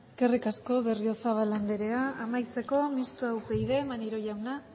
eskerrik asko berriozabal andrea amaitzeko mistoa upyd maneiro jaunak